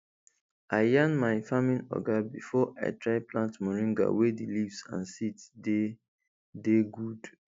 i yan my farming oga before i try plant moringa wey di leaves and seed dey dey good